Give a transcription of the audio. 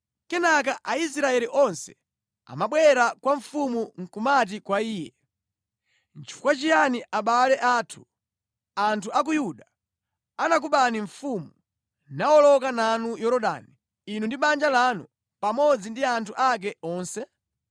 Kenaka Aisraeli onse amabwera kwa mfumu nʼkumati kwa iye, “Nʼchifukwa chiyani abale athu, anthu a ku Ayuda, anakubani mfumu, nawoloka nanu Yorodani inu ndi banja lanu, pamodzi ndi anthu ake onse?”